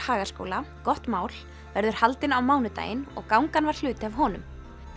Hagaskóla gott mál verður haldinn á mánudaginn og gangan var hluti af honum